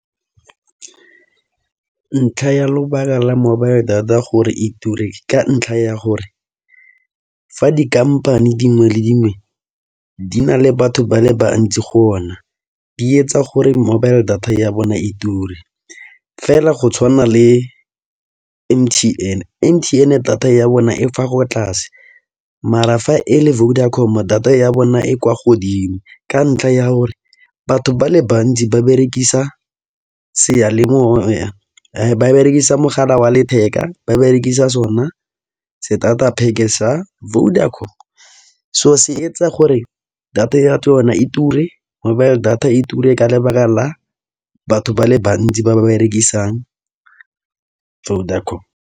Ntlha ya lobaka la mobile data gore e ture ka ntlha ya gore fa di-company dingwe le dingwe di na le batho ba le bantsi go ona, di etsa gore mobile data ya bona e ture. Fela go tshwana le M_T_N, M_T_N data ya bona e fa go tlase, mara fa e le Vodacom data ya bona e kwa godimo, ka ntlha ya gore batho ba le bantsi ba berekisa mogala wa letheka. Ba berekisa sona starter pack sa Vodacom, so se etsa gore data ya tsona e ture, mobile data e ture ka lebaka la batho ba le bantsi ba berekisang Vodacom.